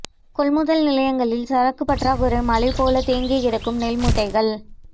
கொள்முதல் நிலையங்களில் சாக்கு பற்றாக்குறை மலைபோல் தேங்கி கிடக்கும் நெல் மூட்டைகள்